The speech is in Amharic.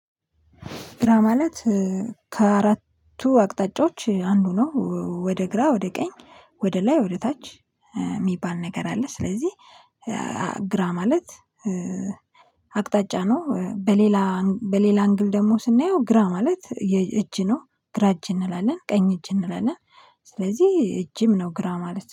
ግራ ማለት ከአራቱ አቅጣጫዎች አንዱ ነው ወደ ግራ ወደ ቀኝ ወደ ላይ ወደ ታች የሚባል ነገር አለ። ስለዚህ ግራ ማለት አቅጣጫ ነው። በሌላ በሌላ አንግል ደግሞ ስናየው ግራ ማለት እጅ ነው። ግራ እጅ እንላለን ቀኝ እጅ እንላለን። ስለዚህ እጅም ነው ግራ ማለት ነው